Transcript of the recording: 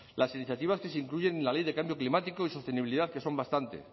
las iniciativas que se incluyen en la ley de cambio climático y sostenibilidad que son bastantes